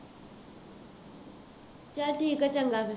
ਚੱਲ ਠੀਕ ਹੈ, ਚੰਗਾ ਫੇਰ